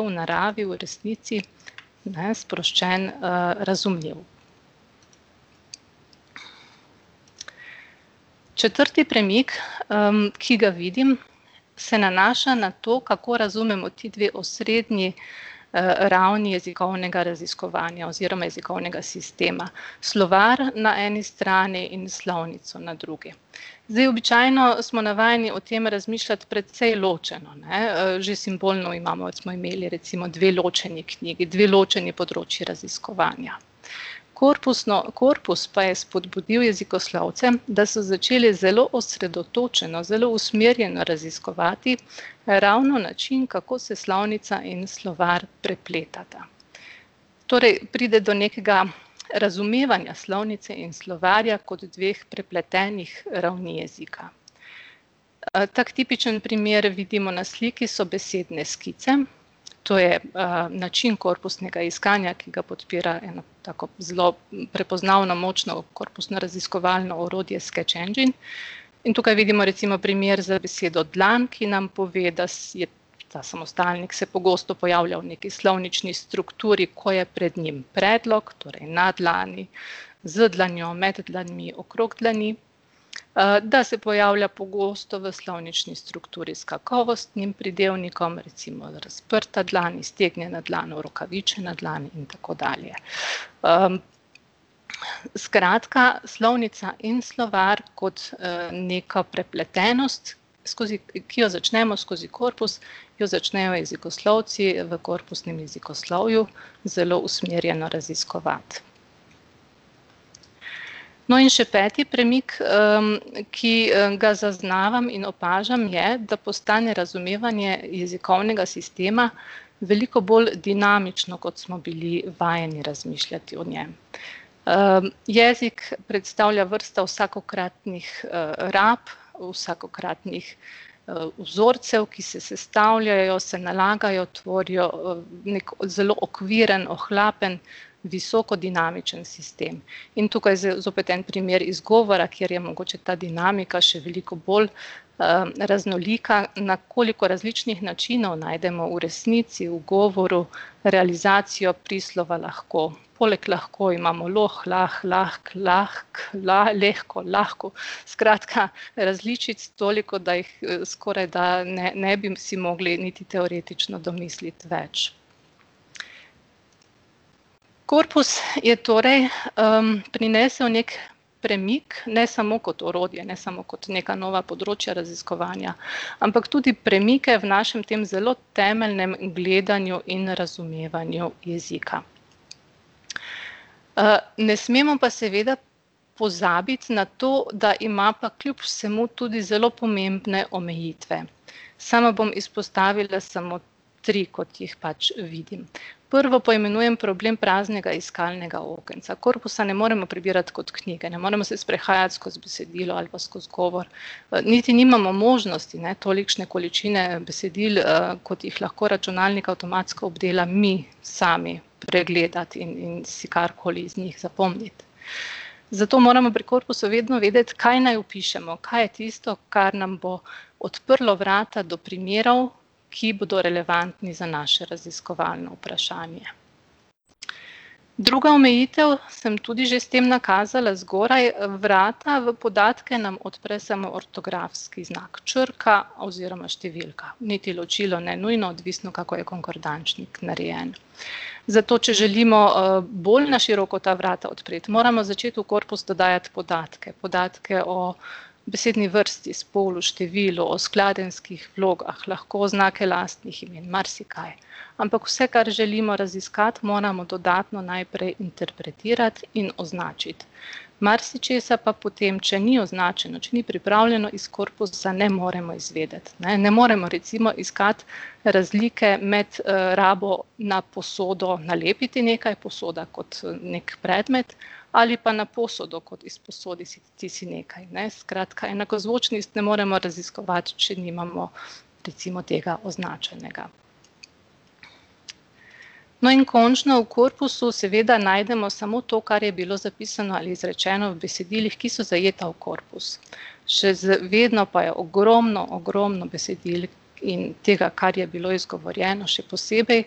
v naravi, v resnici, ne, sproščen, razumljiv. Četrti premik, ki ga vidim, se nanaša na to, kako razumemo ti dve osrednji, ravni jezikovnega raziskovanja oziroma jezikovnega sistema, slovar na eni strani in slovnico na drugi. Zdaj, običajno smo navajeni o tem razmišljati precej ločeno, ne, že simbolno imamo, smo imeli, recimo, dve ločeni knjigi, dve ločeni področji raziskovanja. Korpusno, korpus pa je vzpodbudil jezikoslovce, da so začeli zelo osredotočeno, zelo usmerjeno raziskovati ravno način, kako se slovnica in slovar prepletata. Torej pride do nekega razumevanja slovnice in slovarja kot dveh prepletenih ravni jezika. tak tipičen primer, vidimo na sliki, so besedne skice, To je, način korpusnega iskanja, ki ga podpira eno tako zelo prepoznavno, močno korpusno raziskovalno orodje Sketch Engine, in tukaj vidimo recimo primer za besedo dlan, ki nam pove, da je ta samostalnik se pogosto pojavlja v nekaj slovnični strukturi, ko je pred njim predlog, torej na dlani, z dlanjo, med dlanmi, okrog dlani. da se pojavlja pogosto v slovnični strukturi s kakovostnim pridevnikom, recimo razprta dlan, iztegnjena dlan, orokavičena dlan in tako dalje. skratka, slovnica in slovar kot, neka prepletenost skozi, ki jo začnemo skozi korpus, jo začnemo jezikoslovci v korpusnem jezikoslovju zelo usmerjeno raziskovati. No, in še peti premik, ki ga zaznavam in opažam, je, da postane razumevanje jezikovnega sistema veliko bolj dinamično, kot smo bili vajeni razmišljati o njem. jezik predstavlja vrsta vsakokratnih, rab, vsakokratnih, vzorcev, ki se sestavljajo, se nalagajo, tvorijo v neki zelo okviren, ohlapen visokodinamičen sistem. In tukaj zopet en primer izgovora, kjer je mogoče ta dinamika še veliko bolj, raznolika, na koliko različnih načinov najdemo v resnici v govoru realizacijo prislova lahko. Poleg lahko imamo loh, lah, lahk, lahk, la, lehko, lahko, skratka, različic toliko, da jih, skorajda ne, ne bi si mogli niti teoretično domisliti več. Korpus je torej, prinesel neki premik, ne samo kot orodje, ne samo kot neka nova področja raziskovanja, ampak tudi premike v našem tem zelo temeljnem gledanju in razumevanju jezika. ne smemo pa seveda pozabiti na to, da ima pa kljub vsemu tudi zelo pomembne omejitve. Sama bom izpostavila samo tri, kot jih pač vidim. Prvo poimenujem problem praznega iskalnega okenca, korpusa ne moremo prebirati kot knjige, ne moremo se sprehajati skozi besedilo ali pa skozi govor, niti nimamo možnosti, ne, tolikšne količine besedil, kot jih lahko računalnik avtomatsko obdela, mi sami pregledati in si karkoli iz njih zapomniti. Zato moramo pri korpusu vedno vedeti, kaj naj vpišemo, kaj je tisto, kar nam bo odprlo vrata do primerov, ki bodo relevantni za naše raziskovalno vprašanje. Druga omejitev, sem tudi že s tem nakazala zgoraj, vrata v podatke nam odpre samo ortografski znak, črka oziroma številka, niti ločilo ne nujno, odvisno, kako je konkordančnik narejen. Zato če želimo, bolj na široko ta vrata odpreti, moramo začeti v korpus dodajati podatke, podatke o besedni vrsti, spolu, številu, skladenjskih vlogah, lahko znake lastnih imen, marsikaj. Ampak vse, kar želimo raziskati, moramo dodatno najprej interpretirati in označiti. Marsičesa pa potem, če ni označeno, če ni pripravljeno iz korpusa, ne moremo izvedeti, ne, ne moramo recimo iskati razlike med, rabo na posodo nalepiti nekaj, posoda kot neki predmet, ali pa na posodo, kot izposoditi si nekaj, ne, skratka enakozvočnic ne moremo raziskovati, če nimamo recimo tega označenega. No, in končno, v korpusu seveda najdemo samo to, kar je bilo zapisano ali izrečeno v besedilih, ki so zajeta v korpus. Še vedno pa je ogromno, ogromno besedil, ki tega, kar je bilo izgovorjeno, še posebej ...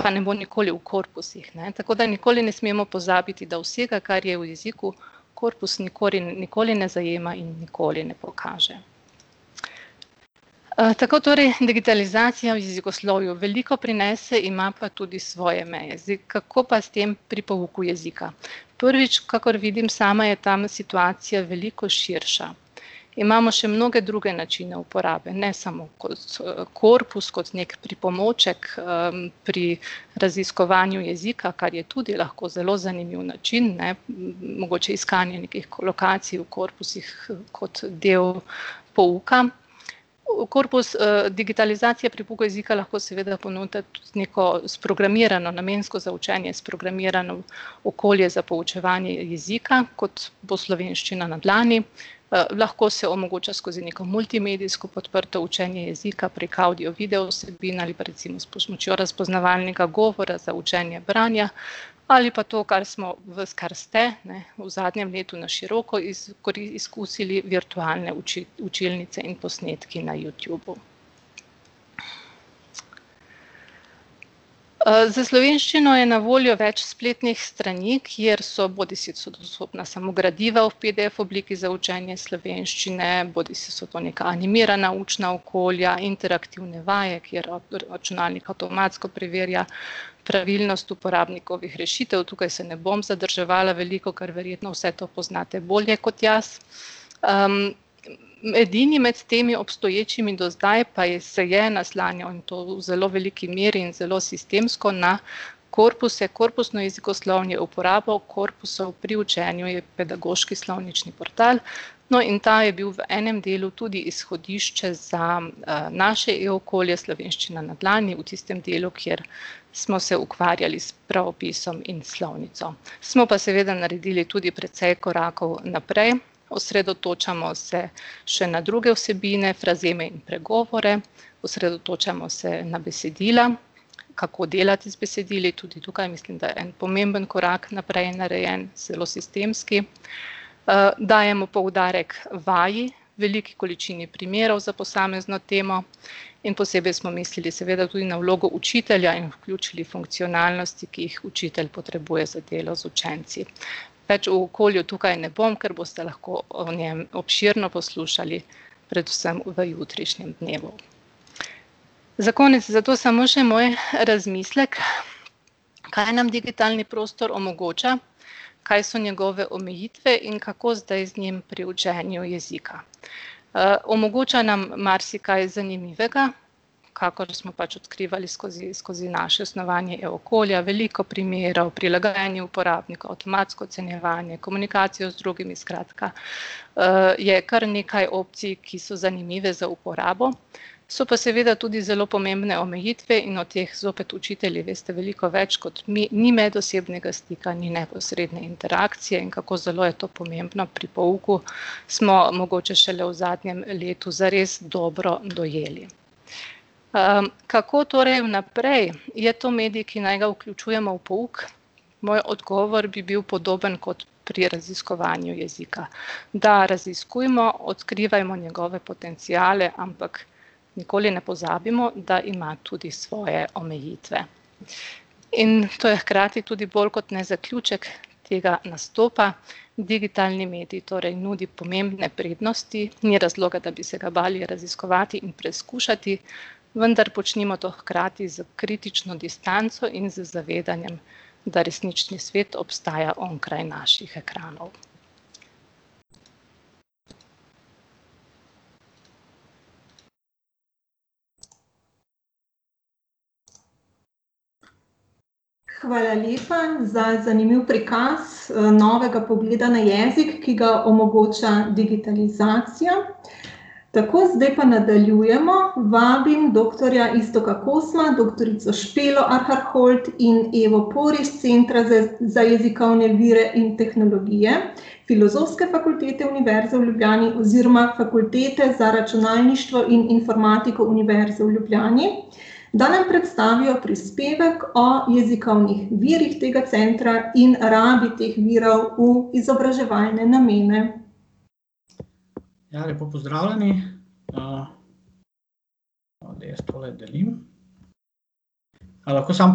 Pa ne bo nikoli v korpusih, ne, tako da ne nikoli ne smemo pozabiti, da vsega, kar je v jeziku, korpus nikoli ne zajema in nikoli ne pokaže. tako torej digitalizacija v jezikoslovju veliko prinese, ima pa tudi svoje meje, zdaj, kako pa s tem pri pouku jezika? Prvič, kakor vidim sama, je tam situacija veliko širša. Imamo še mnoge druge načine uporabe, ne samo kot, korpus, kot neki pripomoček, pri raziskovanju jezika, kar je tudi lahko zelo zanimiv način, ne, mogoče iskanje nekih kolokacij v korpusih kot del pouka. V korpus, digitalizacije pri pouku jezika seveda lahko ponuditi neko sprogramirano, namensko za učenje sprogramirano okolje za poučevanje jezika, kot bo Slovenščina na dlani, lahko se omogoča skozi neko multimedijsko podprto učenje jezika, prek avdio-, videovsebin ali pa recimo s pomočjo razpoznavalnika govora za učenje branja. Ali pa to, kar smo, vas, kar ste, ne, v zadnjem letu na široko izkusili, virtualne učilnice in posnetki na Youtubu. za slovenščino je na voljo več spletnih strani, kjer so, bodisi so dostopna samo gradiva v pdf obliki za učenje slovenščine bodisi so to neka animirana učna okolja, interaktivne vaje, kjer računalnik avtomatsko preverja pravilnost uporabnikovih rešitev, tukaj se ne bom zadrževala veliko, ker verjetno vse to poznate bolje kot jaz. edini med temi obstoječimi do zdaj pa se je naslanjal na to v zelo veliki meri in zelo sistemsko na korpuse, korpusno jezikoslovje, uporabo korpusov pri učenju, je pedagoški slovnični portal. No, in ta je bil v enem delu tudi izhodišče za, naše e-okolje Slovenščina na dlani v tistem delu, kjer smo se ukvarjali s pravopisom in slovnico. Smo pa seveda naredili tudi precej korakov naprej, osredotočamo se še na druge vsebine, frazeme in pregovore, osredotočamo se na besedila, kako delati z besedili, tudi tukaj mislim, da je en pomemben korak naprej narejen, zelo sistemski. dajemo poudarek vaji, veliki količini primerov za posamezno temo in posebej smo mislili seveda tudi na vlogo učitelja in vključili funkcionalnosti, ki jih učitelj potrebuje za delo z učenci. Več o okolju tukaj ne bom, ker boste lahko o njem obširno poslušali predvsem v jutrišnjem dnevu. Za konec zato samo še moj razmislek, kaj nam digitalni prostor omogoča, kaj so njegove omejitve in kako zdaj z njim pri učenju jezika. omogoča nam marsikaj zanimivega, kakor smo pač odkrivali skozi, skozi naše snovanje e-okolja, veliko primerov, prilagajanje uporabniku, avtomatsko ocenjevanje, komunikacija z drugimi, skratka, je kar nekaj opcij, ki so zanimive za uporabo, so pa seveda tudi zopet omejitve in od teh zopet učitelji veste veliko več kot mi, ni medosebnega stika, ni neposredne interakcije in kako zelo je to pomembno pri pouku, smo mogoče šele v zadnjem letu zares dobro dojeli. kako torej naprej, je to medij, ki naj ga vključujemo v pouk? Moj odgovor bi bil podoben kot pri raziskovanju jezika, da raziskujmo, odkrivajmo njegove potenciale, ampak nikoli ne pozabimo, da ima tudi svoje omejitve. In to je hkrati tudi bolj kot ne zaključek tega nastopa, digitalni medij torej nudi pomembne prednosti, ni razloga, da bi se ga bali raziskovati in preizkušati, vendar počnimo to hkrati s kritično distanco in z zavedanjem, da resnični svet ostaja onkraj naših ekranov. Hvala lepa za zanimiv prikaz, novega pogleda na jezik, ki ga omogoča digitalizacija. Tako, zdaj pa nadaljujemo, vabim doktorja Iztoka Kosma, doktorico Špelo Arhar Holdt in Evo Por iz Centra za, za jezikovne vire in tehnologije, Filozofske fakultete Univerze v Ljubljani oziroma Fakultete za računalništvo in informatiko Univerze v Ljubljani, da nam predstavijo prispevek o jezikovnih virih tega centra in rabi teh virov v izobraževalne namene. Ja, lepo pozdravljeni. da jaz tole delim. A lahko samo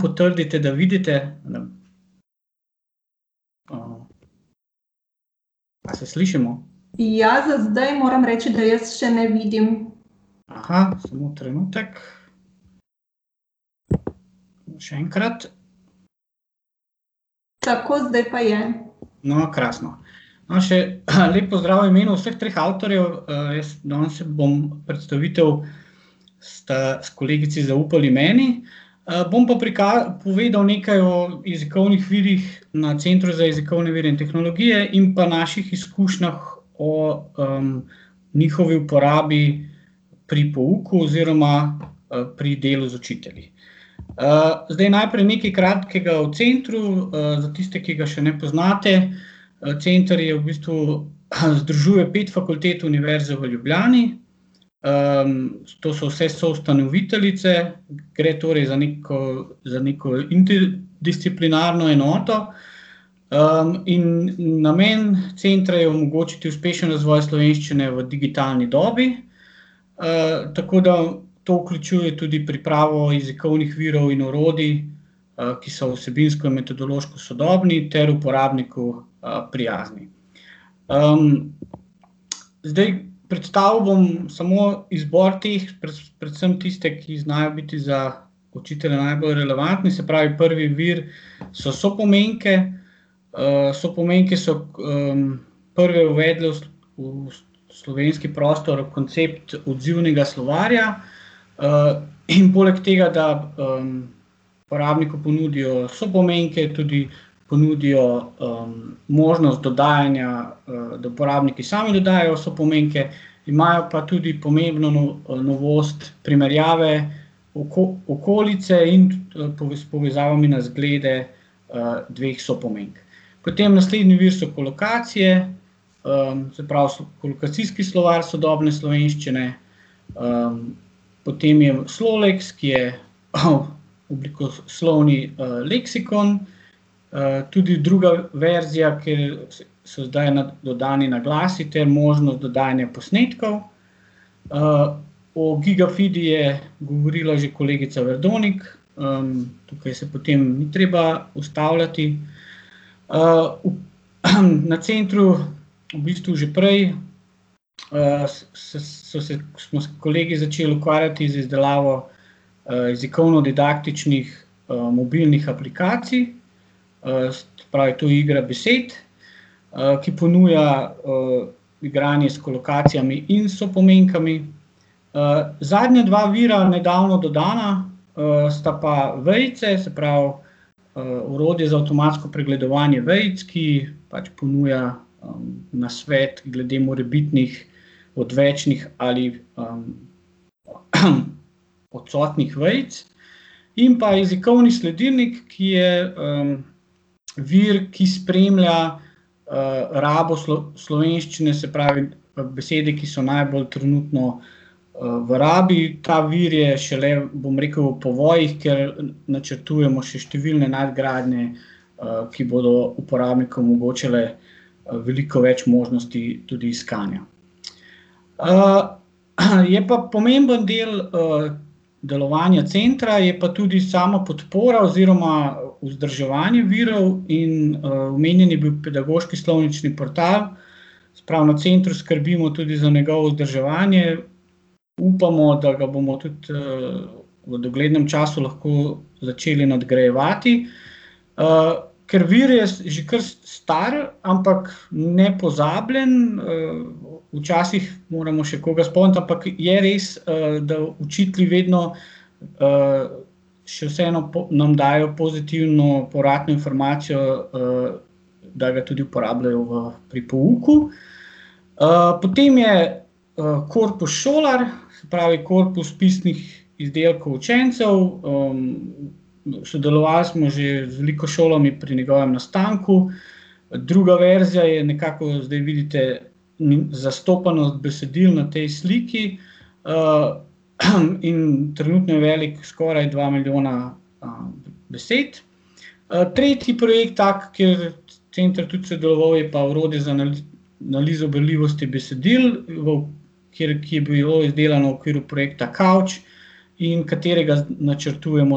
potrdite, da vidite ... A se slišimo? Ja, za zdaj moram reči, da jaz še ne vidim. samo trenutek. Še enkrat. Tako, zdaj pa je. No, krasno. No, še lep pozdrav v imenu vseh treh avtorjev, jaz danes bom predstavitev, sta kolegici zaupali meni, bom pa povedal nekaj o jezikovnih virih na Centru za jezikovne vire in tehnologije in pa naših izkušnjah o, njihovi uporabi pri pouku oziroma, pri delu z učitelji. zdaj najprej nekaj kratkega o centru, za tiste, ki ga še ne poznate, centr je v bistvu ... Združuje pet fakultet Univerze v Ljubljani, to so vse soustanoviteljice, gre torej za neko, za neko interdisciplinarno enoto, in namen centra je omogočiti uspešen razvoj slovenščine v digitalni dobi, tako da to vključuje tudi pripravo jezikovnih virov in orodij, ki so vsebinsko in metodološko sodobni ter uporabniku prijazni. zdaj predstavil bom samo izbor teh, predvsem tiste, ki znajo biti za učitelja najbolj relevantni, se pravi prvi vir so sopomenke. sopomenke so, prve uvedli v slovenski prostor, koncept odzivnega slovarja, in poleg tega, da, uporabniku ponudijo sopomenke, tudi ponudijo, možnost dodajanja, da uporabniki sami dodajajo sopomenke, imajo pa tudi pomembno novost primerjave, okolice in s povezavami na zglede, dveh sopomenk. Potem naslednji vir so kolokacije, se pravi so Kolokacijski slovar sodobne slovenščine, potem je Sloleks, ki je oblikoslovni, leksikon, tudi druga veja ki so ji dodani naglasi ter možno dodajanje posnetkov. o Gigafidi je govorila že kolegica Verdonik, tukaj se potem ni treba ustavljati, na Centru v bistvu že prej, so se, smo se kolegi začel ukvarjati z izdelavo, jezikovno-didaktičnih, mobilnih aplikacij. se pravi, to je igra besed, ki ponuja, igranje s kolokacijami in sopomenkami. zadnje dva vira, nedavno dodana, sta pa vejice, se pravi, orodje za avtomatsko pregledovanje vejic, ki pač ponuja, nasvet glede morebitnih odvečnih ali, odsotnih vejic, in pa jezikovni sledilnik, ki je, vir, ki spremlja rabo slovenščine, se pravi, besede, ki so najbolj trenutno, v rabi, ta vir je šele, bom rekel, v povojih, ker načrtujemo še številne nadgradnje, ki bodo uporabnikom omogočile, veliko več možnosti tudi iskanja. je pa pomemben del, delovanja Centra, je pa tudi samopodpora oziroma vzdrževanje virov in, omenjen je bil pedagoški slovnični portal, se pravi na Centru skrbimo tudi za njegovo vzdrževanje, upamo, da ga bomo tudi, v doglednem času lahko začeli nadgrajevati. ker vir je že kar star, ampak nepozabljen, včasih moramo še koga spomniti, ampak je res, da učitelji vedno, še vseeno nam dajejo pozitivno povratno informacijo, da ga tudi uporabljajo v, pri pouku. potem je, korpus Šolar, se pravi korpus pisnih izdelkov učencev, sodelovali smo že z veliko šolami pri njegovem nastanku, druga verzija je, nekako zdaj vidite, zastopanost besedil na tej sliki, in trenutno je veliko skoraj dva milijona, besed. tretji projekt tak, kjer Center tudi sodeloval, je pa orodje za analizo berljivosti besedil v ... Kjer, ki je bilo izdelano v okviru projekta Kavč in katerega načrtujemo,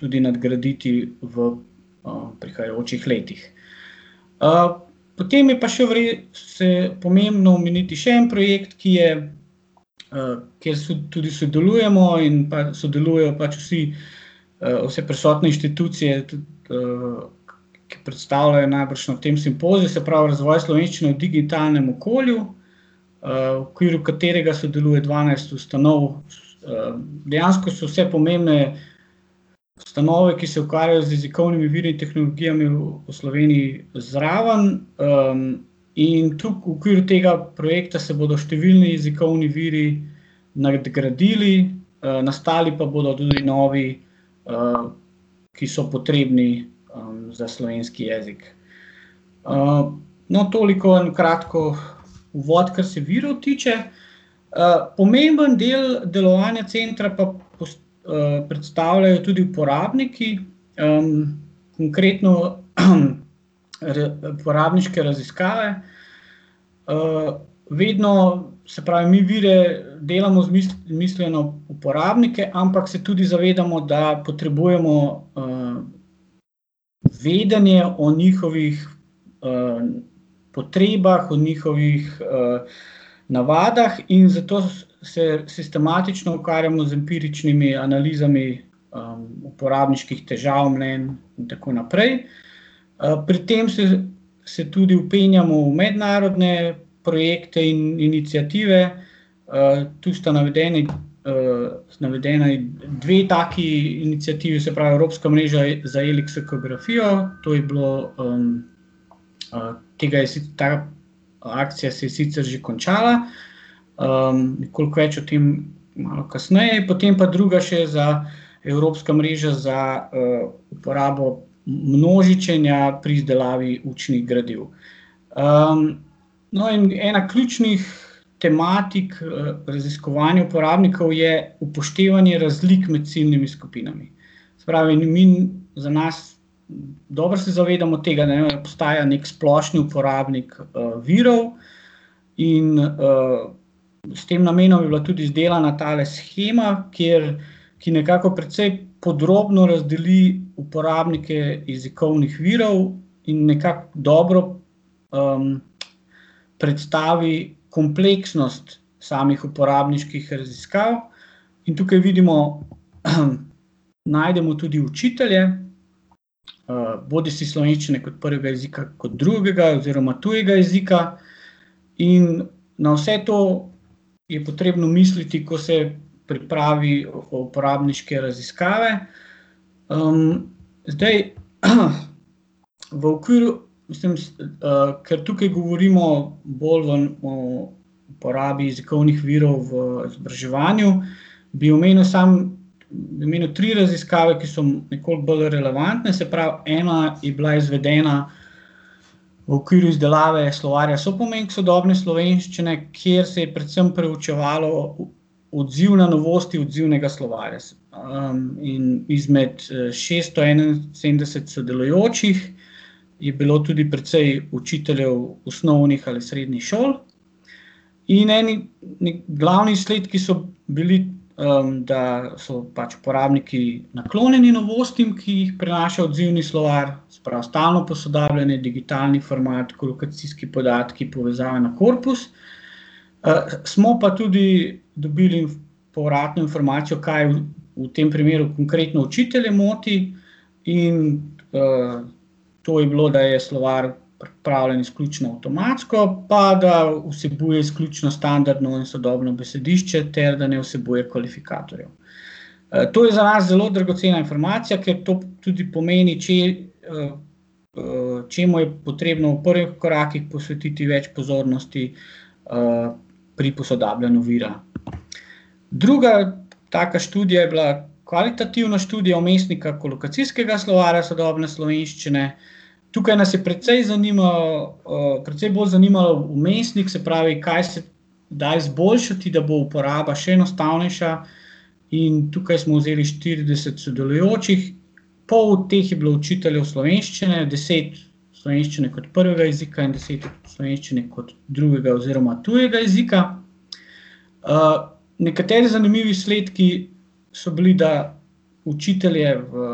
tudi nadgraditi v, prihajajočih letih. potem je pa še se pomembno omeniti še en projekt, ki je, kjer tudi sodelujemo in pa sodelujejo pač vsi, vse prisotne inštitucije, tudi, ki predstavljajo najbrž na tem simpoziju, se pravi Razvoj slovenščine v digitalnem okolju, v okviru katerega sodeluje dvanajst ustanov, dejansko so vse pomembne ustanove, ki se ukvarjajo z jezikovnimi viri in tehnologijami v Sloveniji, zraven, in v okviru tega projekta se bodo številni jezikovni viri nadgradili, nastali pa bodo tudi novi, ki so potrebni, za slovenski jezik. no, toliko na kratko uvod, kar se virov tiče, pomemben del delovanja Centra pa predstavljajo tudi uporabniki, konkretno uporabniške raziskave. vedno, se pravi, mi vire delamo z z mislijo na uporabnike, ampak se tudi zavedamo, da potrebujemo, vedenje o njihovih, potrebah, o njihovih, navadah, in zato se sistematično ukvarjamo z empiričnimi analizami, uporabniških težav, mnenj in tako naprej. pri tem se, se tudi vpenjamo v mednarodne projekte in iniciative, to sta navedeni, navedena dve taki iniciativi, se pravi, Evropska mreža za leksikografijo, to je bilo, tega je ta akcija se je sicer že končala, koliko več o tem malo kasneje, potem pa druga še za, Evropska mreža za, uporabo množičenja pri izdelavi učnih gradiv. no, in ena ključnih tematik, raziskovanj uporabnikov je upoštevanje razlik med ciljnimi skupinami. Se pravi, ne za nas, dobro se zavedamo tega, ne, da obstaja neki splošni uporabnik, virov, in, s tem namenom je bila tudi izdelana tale shema, kjer, ki nekako precej podrobno razdeli uporabnike jezikovnih virov in nekako dobro, predstavi kompleksnost samih uporabniških raziskav. In tukaj vidimo, najdemo tudi učitelje, bodisi slovenščine kot prvega jezika, kot drugega oziroma kot tujega jezika, in na vse to je potrebno misliti, ko se pripravi uporabniške raziskave. zdaj, v okviru, ker tukaj govorimo bolj o o porabi jezikovnih virov v izobraževanju, bi omenil samo, bi omenil tri raziskave, ki so nekoliko bolj relevantne, se pravi, ena je bila izvedena v okviru izdelave Slovarja sopomenk sodobne slovenščine, kjer se je predvsem preučevalo odziv na novosti odzivnega slovarja in izmed šeststo enainsedemdeset sodelujočih je bilo tudi precej učiteljev osnovnih ali srednjih šol. In eni glavni izsledki so bili, da so pač uporabniki naklonjeni novostim, ki jih prinaša odzivni slovar, se pravi, stalno posodabljanje, digitalni format, kolokacijski podatki, povezava na korpus, smo pa tudi dobili povratno informacijo, kaj v tem primeru konkretno učitelje moti. In, to je bilo, da je slovar pripravljen izključno avtomatsko pa da vsebuje izključno standardno in sodobno besedišče ter da ne vsebuje kvalifikatorjev. to je za nas zelo dragocena informacija, ker to tudi pomeni, če čemu je potrebno v prvih korakih posvetiti več pozornosti, pri posodabljanju vira. Druga taka študija je bila kvalitativna študija vmesnika Kolokacijskega slovarja sodobne slovenščine. Tukaj naj je precej precej bolj zanimal vmesnik, se pravi, kaj se da izboljšati, da bo uporaba še enostavnejša, in tukaj smo vzeli štirideset sodelujočih, pol teh je bilo učiteljev slovenščine, deset slovenščine kot prvega jezika in deset slovenščine kot drugega oziroma tujega jezika, nekateri zanimivi izsledki so bili, da učitelje v,